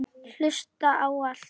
Hlusta á allt!!